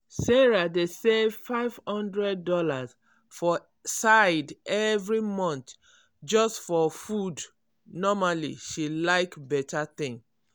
sarah dey save five hundred dollars for side every month just for food normally she like beta thing.